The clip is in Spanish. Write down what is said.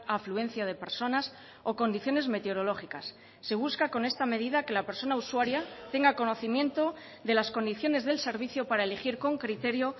afluencia de personas o condiciones meteorológicas se busca con esta medida que la persona usuaria tenga conocimiento de las condiciones del servicio para elegir con criterio